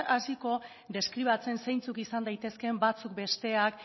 hasiko deskribatzen zeintzuk izan daitezkeen batzuk besteak